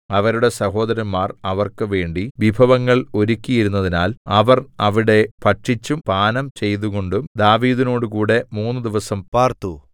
അവരുടെ സഹോദരന്മാർ അവർക്ക് വേണ്ടി വിഭവങ്ങൾ ഒരുക്കിയിരുന്നതിനാൽ അവർ അവിടെ ഭക്ഷിച്ചും പാനം ചെയ്തുംകൊണ്ടു ദാവീദിനോടുകൂടെ മൂന്നുദിവസം പാർത്തു